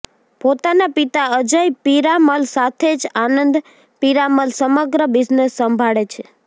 પોતાના પિતા અજય પીરામલ સાથે જ આનંદ પીરામલ સમગ્ર બિઝનેસ સંભાળે છે